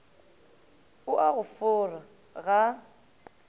o a go fora ga